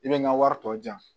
I bɛ n ka wari tɔ di yan